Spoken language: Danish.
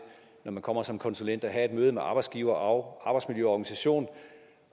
når man kommer som konsulent at have et møde med arbejdsgiveren og arbejdsmiljøorganisationen